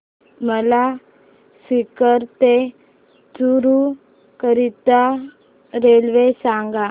मला सीकर ते चुरु करीता रेल्वे सांगा